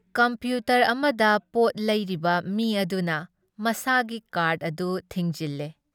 Computer ꯑꯃꯗ ꯄꯣꯠ ꯂꯩꯔꯤꯕ ꯃꯤ ꯑꯗꯨꯅ ꯃꯁꯥꯒꯤ ꯀꯥꯔꯗ ꯑꯗꯨ ꯊꯤꯡꯖꯤꯜꯂꯦ ꯫